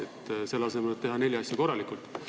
Selle asemel võiks ju kohe teha neli asja korralikult.